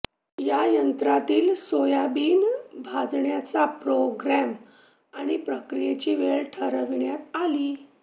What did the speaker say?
या यंत्रातील सोयाबीन भाजण्याचा प्रोग्रॅम आणि प्रक्रियेची वेळ ठरविण्यात आली